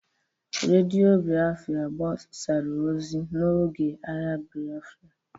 Radio Biafra gbasara ozi n'oge agha Biafra